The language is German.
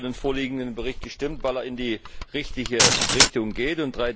Ich habe auch für den vorliegenden Bericht gestimmt, weil er in die richtige Richtung geht.